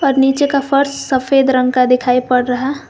और नीचे का फर्श सफेद रंग का दिखाई पड़ रहा--